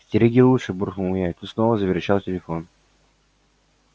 стереги лучше буркнул я и тут снова заверещал телефон